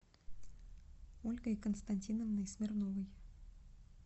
ольгой константиновной смирновой